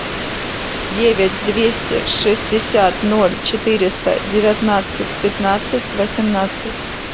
девять двести шестьдесят ноль четыреста девятнадцать пятнадцать восемнадцать